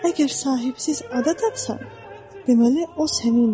Əgər sahibsiz ada tapsan, deməli o sənindir.